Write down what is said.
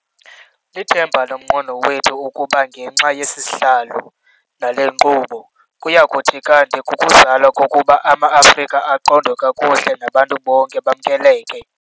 "Lithemba nomqweno wethu ukuba ngenxa yesisihlalo nale nkqubo, kuyakuthi kanti kukuzalwa kokuba ama-Afrika aqondwe kakuhle nabantu bonke bamkeleke."